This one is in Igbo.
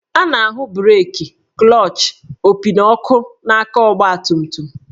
A na-ahụ breeki, klọchị, opi, na ọkụ n'aka ọgbatumtum